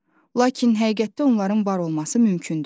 Lakin həqiqətdə onların var olması mümkündür.